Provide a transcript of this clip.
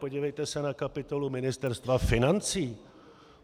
Podívejte se na kapitolu Ministerstva financí.